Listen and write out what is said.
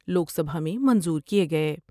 لوک سبھا میں منظور کئے گئے ۔